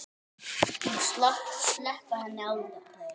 Og sleppa henni aldrei.